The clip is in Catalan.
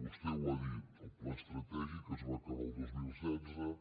vostè ho ha dit el pla estratègic es va acabar el dos mil setze el